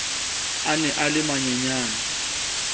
a ne a le manyenyane